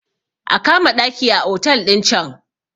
a kama ɗaki a otal ɗin can!